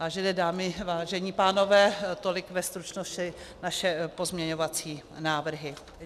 Vážené dámy, vážení pánové, tolik ve stručnosti naše pozměňovací návrhy.